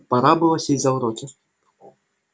пора было сесть за уроки